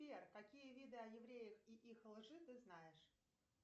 сбер какие виды о евреях и их лжи ты знаешь